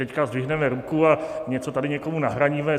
Teď zvedneme ruku a něco tady někomu nahradíme.